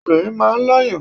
Obìnrin máa ń lọ́yàn.